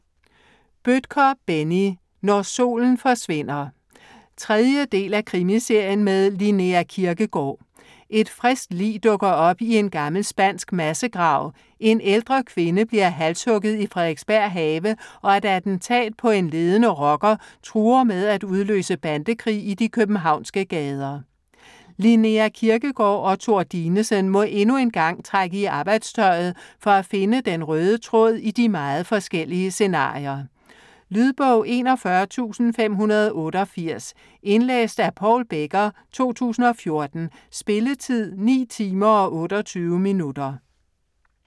Bødker, Benni: Når solen forsvinder 3. del af Krimiserien med Linnea Kirkegaard. Et friskt lig dukker op i en gammel spansk massegrav, en ældre kvinde bliver halshugget i Frederiksberg Have, og et attentat på en ledende rocker truer med at udløse bandekrig i de københavnske gader. Linnea Kirkegaard og Thor Dinesen må endnu en gang trække i arbejdstøjet, for at finde den røde tråd i de meget forskellige scenarier. Lydbog 41588 Indlæst af Paul Becker, 2014. Spilletid: 9 timer, 28 minutter.